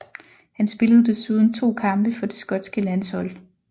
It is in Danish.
Han spillede desuden to kampe for det skotske landshold